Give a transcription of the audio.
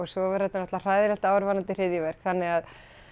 svo var þetta náttúrulega hræðilegt ár varðandi hryðjuverk þannig að